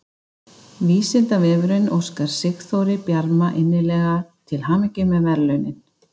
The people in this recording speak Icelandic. Vísindavefurinn óskar Sigþóri Bjarma innilega til hamingju með verðlaunin!